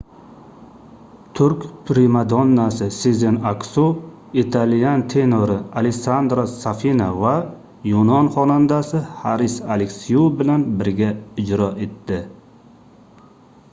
turk primadonnasi sezen aksu italyan tenori alessandro safina va yunon xonandasi haris aleksiu bilan birga ijro etdi